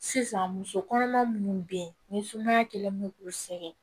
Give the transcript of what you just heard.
Sisan muso kɔnɔma minnu be yen ni sumaya kɛlen do k'u sɛgɛn